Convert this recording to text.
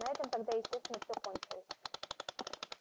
на этом тогда естественно все кончилось